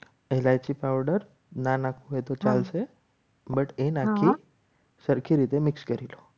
Lic powder નાના હોય તો ચાલશે. પણ એ નક્કી સરખી રીતે mix કરી લો.